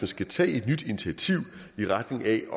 skal tage et nyt initiativ i retning af at